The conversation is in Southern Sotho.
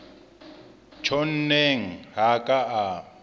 tjhonneng ha a ka a